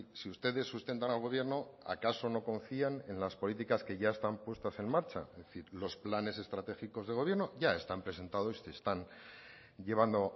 si ustedes sustentan al gobierno acaso no confían en las políticas que ya están puestas en marcha es decir los planes estratégicos del gobierno ya están presentados y se están llevando